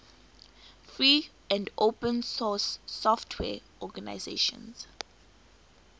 free and open source software organizations